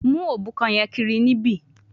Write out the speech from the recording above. Mu obukan yen kiri nibi